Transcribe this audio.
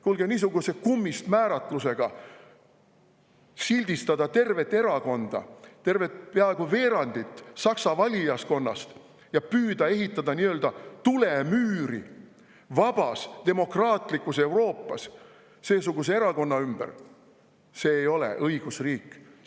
Kuulge, niisuguse kummist määratlusega sildistada tervet erakonda, peaaegu veerandit Saksa valijaskonnast, ja püüda ehitada nii-öelda tulemüüri vabas demokraatlikus Euroopas seesuguse erakonna ümber – see ei ole õigusriik.